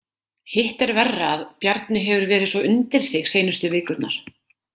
Hitt er verra að Bjarni hefur verið svo undir sig seinustu vikurnar.